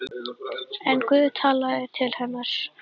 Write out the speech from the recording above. En Guð talaði til hennar.